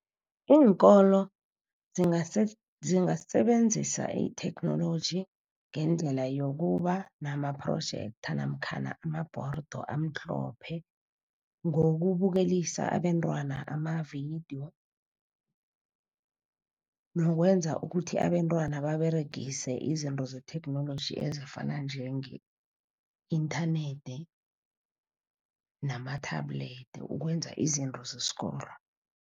Iinkolo zingasebenzisa itheknoloji ngendlela yokuba nama-projector namkhana amabhorido amhlophe, ngokubukelisa abentwana amavidiyo. Nokwenza ukuthi abentwana baberegise izinto zetheknoloji, ezifana njenge-inthanethi nama-tablet ukwenza izinto zesikolo.